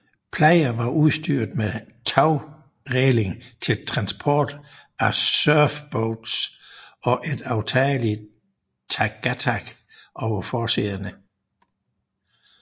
Playa var udstyret med tagræling til transport af surfboards og et aftageligt targatag over forsæderne